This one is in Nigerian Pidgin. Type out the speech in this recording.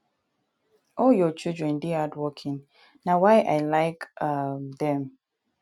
all your children dey hardworking na why i like um dem